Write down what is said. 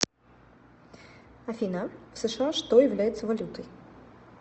афина в сша что является валютой